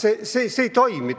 See ei toimi!